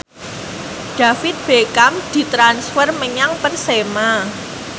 David Beckham ditransfer menyang Persema